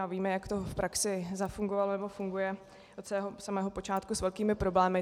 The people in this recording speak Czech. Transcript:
A víme, jak to v praxi zafungovalo nebo funguje, od samého počátku s velkými problémy.